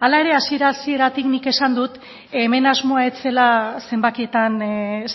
hala ere hasiera hasieratik nik esan dut hemen asmoa ez zela zenbakietan